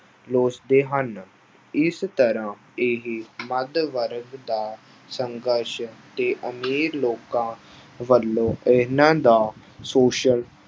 ਲੋਚਦੇ ਹਨ, ਇਸ ਤਰ੍ਹਾਂ ਇਹ ਮੱਧ ਵਰਗ ਦਾ ਸੰਘਰਸ਼ ਤੇ ਅਮੀਰ ਲੋਕਾਂ ਵੱਲੋਂ ਇਹਨਾਂ ਦਾ ਸ਼ੋਸ਼ਣ